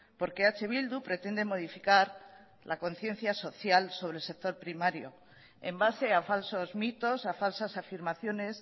porque eh bildu pretende modificar la conciencia social sobre el sector primario en base a falsos mitos a falsas afirmaciones